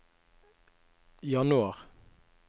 januar